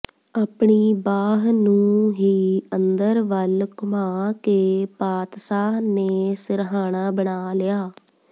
ਆਪਣੀ ਬਾਹ ਨੂੰ ਹੀ ਅੰਦਰ ਵੱਲ ਘੁਮਾ ਕੇ ਪਾਤਸਾਹ ਨੇ ਸਿਰਹਾਣਾ ਬਣਾ ਲਿਆ